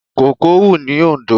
Kòkó ń hù ní Oǹdó.